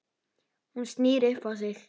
Hún snýr upp á sig.